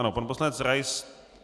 Ano, pan poslanec Rais.